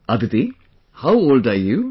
Aditi how old are you